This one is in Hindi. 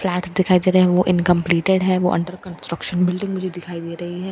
फ्लैट्स दिखाई दे रहे हैं वो इनकॉम्पलेटेड हैं वो अन्डर कन्स्ट्रक्शन बिल्डिंग मुझे दिखाई दे रही है --